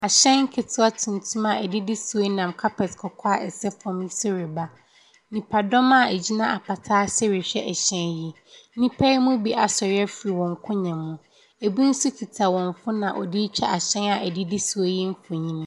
Mbofra ahyia wɔ wɔn agordzibea. Binom kitakita akyen a wɔrebom. Binom nso tenatena hɔ a wɔretsie na adwomtofo nso gyinagina hɔ a wɔreboa ma ayer no wɔakɔ do.